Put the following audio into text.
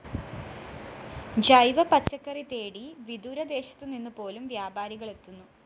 ജൈവ പച്ചക്കറി തേടി വിദൂരദേശത്തുനിന്നുപോലും വ്യാപാരികള്‍ എത്തുന്നു